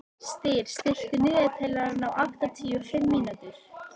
Styr, stilltu niðurteljara á áttatíu og fimm mínútur.